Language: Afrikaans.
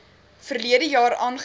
verlede jaar aangebied